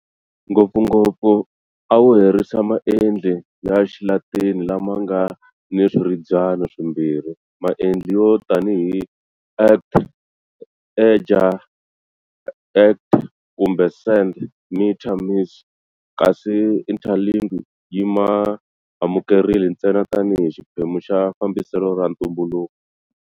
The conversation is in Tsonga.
Ngopfungopfu a wu herise maendli ya Xilatini lama nga ni swirhabyani swimbirhi, maendli yo tanihi act-ager, act-kumbe send-mitter, miss-, kasi Interlingua yi ma amukerile ntsena tanihi xiphemu xa fambiselo ra ntumbuluko.